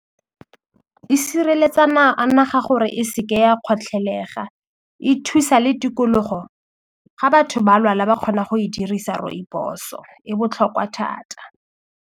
E sireletsana a naga gore e se ke ya kgotlhelega e thusa le tikologo ga batho ba lwala ba kgona go e dirisa rooibos-o e botlhokwa thata.